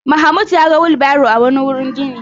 Mahmud ya ga wilbaro a wani wurin gini.